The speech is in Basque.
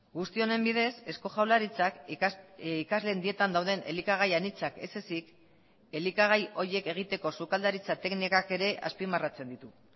guzti honen bidez eusko jaurlaritzak ikasleen dietan dauden elikagai anitzak ez ezik elikagai horiek egiteko sukaldaritza teknikak ere azpimarratzen ditu